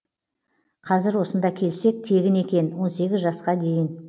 қазір осында келсек тегін екен он сегіз жасқа дейін